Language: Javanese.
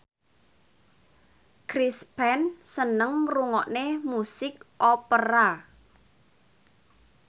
Chris Pane seneng ngrungokne musik opera